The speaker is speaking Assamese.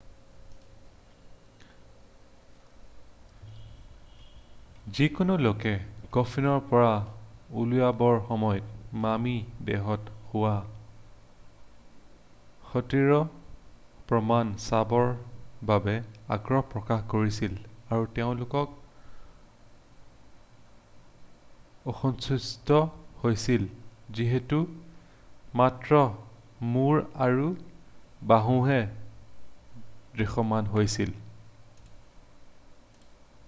যিকোনো লোকে কফিনৰ পৰা উলিওৱাৰৰ সময়ত মামি দেহত হোৱা ক্ষতিৰ প্ৰমাণ চাবৰ বাবে আগ্ৰহ প্ৰকাশ কৰিছিল আৰু তেওঁলোক অসন্তুষ্ট হৈছিল যিহেতু মাত্ৰ মূৰ আৰু বাহুহে দৃশ্যমান হৈছিল